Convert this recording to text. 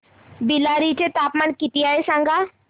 बेल्लारी चे तापमान किती आहे सांगा